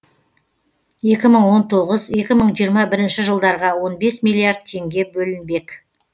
екі мың он тоғыз екі мың жиырма бірінші жылдарға он бес миллиард теңге бөлінбек